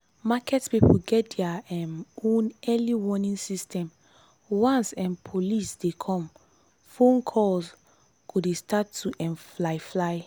market people get their um own early warning system once um police dey come phone calls go dey start to um fly. fly.